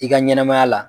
I ka ɲɛnɛmaya la